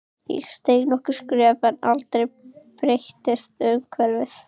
Ég steig nokkur skref en aldrei breyttist umhverfið.